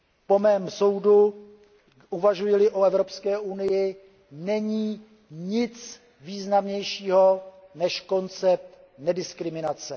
Po mém soudu, uvažuji li o Evropské unii, není nic významnějšího než koncept nediskriminace.